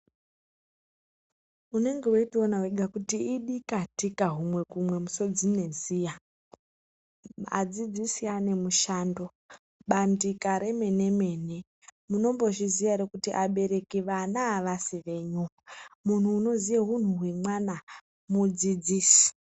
Unenge weitoona wega kuti idikatika humwe kumwe musodzi neziya adzidzisi ane mushando bandika remene mene. Munombozviziya ere kuti abereki vana avasi venyu muntu unoziya huntu hwemwana mudzidzisi.